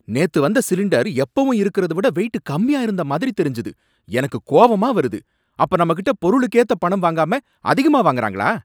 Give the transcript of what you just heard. நேத்து வந்த சிலிண்டர் எப்பவும் இருக்கறத விட வெயிட் கம்மியா இருந்த மாதிரி தெரிஞ்சது. எனக்கு கோவமா வருது, அப்ப நம்மகிட்ட பொருளுக்கேத்த பணம் வாங்காம அதிகமா வாங்கறாங்களா?